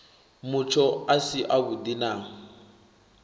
mutsho a si avhudi na